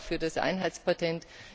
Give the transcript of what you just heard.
Das gilt auch für das Einheitspatent.